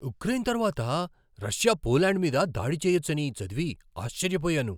Ukraine తరువాత Russia Poland మీద దాడి చేయొచ్చని చదివి ఆశ్చర్యపోయాను.